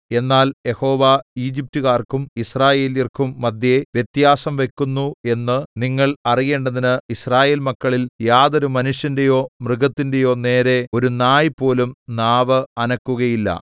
എന്നാൽ യഹോവ ഈജിപ്റ്റുകാർക്കും യിസ്രായേല്യർക്കും മദ്ധ്യേ വ്യത്യാസം വയ്ക്കുന്നു എന്ന് നിങ്ങൾ അറിയേണ്ടതിന് യിസ്രായേൽ മക്കളിൽ യാതൊരു മനുഷ്യന്റെയോ മൃഗത്തിന്റെയോ നേരെ ഒരു നായ് പോലും നാവ് അനക്കുകയില്ല